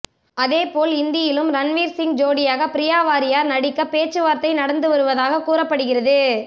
அதேபோல் இந்தியிலும் ரன்வீர் சிங் ஜோடியாக பிரியாவாரியர் நடிக்க பேச்சுவார்த்தை நடந்து வருவதாக கூறப்படுகிறது